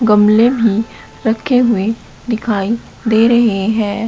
गमले भी रखे हुए दिखाई दे रहे हैं।